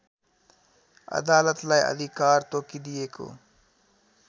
अदालतलाई अधिकार तोकिदिएको